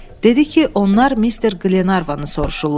Dedi ki, onlar Mister Qlenarvanı soruşurlar.